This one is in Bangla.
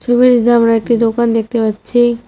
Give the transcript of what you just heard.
ছবিটিতে আমরা একটি দোকান দেখতে পাচ্ছি।